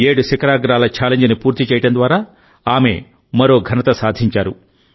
ఏడు శిఖరాగ్రాల ఛాలెంజ్ని పూర్తి చేయడం ద్వారా ఆమె మరో ఘనత సాధించారు